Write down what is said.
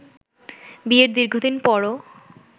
বিয়ের দীর্ঘদিন পরও